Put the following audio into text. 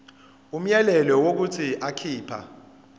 umyalelo wokuthi akhipha